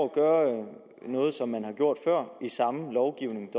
gøre noget som man har gjort før i samme lovgivning